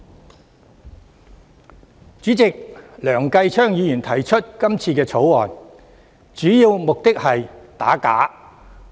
代理主席，梁繼昌議員提出這項《條例草案》，主要目的是想打假。